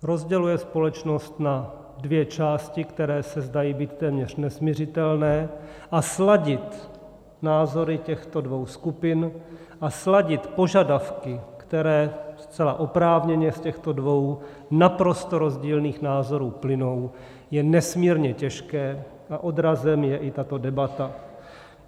Rozděluje společnost na dvě části, které se zdají být téměř nesmiřitelné, a sladit názory těchto dvou skupin a sladit požadavky, které zcela oprávněně z těchto dvou naprosto rozdílných názorů plynou, je nesmírně těžké a odrazem je i tato debata.